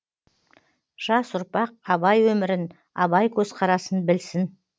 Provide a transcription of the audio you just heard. жас ұрпақ абай өмірін абай көзқарасын білсін